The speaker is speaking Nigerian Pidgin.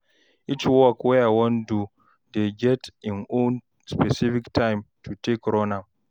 each work wey I wan do dey get im own specific time to take run am